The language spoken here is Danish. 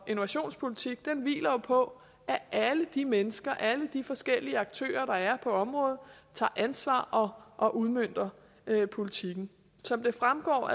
og innovationspolitik hviler jo på at alle de mennesker alle de forskellige aktører der er på området tager ansvar og og udmønter politikken som det fremgår